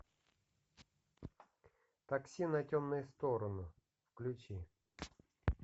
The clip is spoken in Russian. такси на темную сторону включи